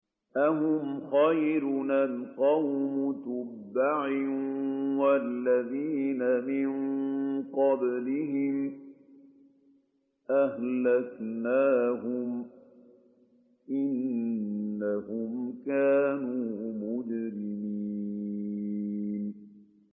أَهُمْ خَيْرٌ أَمْ قَوْمُ تُبَّعٍ وَالَّذِينَ مِن قَبْلِهِمْ ۚ أَهْلَكْنَاهُمْ ۖ إِنَّهُمْ كَانُوا مُجْرِمِينَ